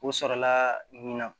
O sɔrɔla ɲina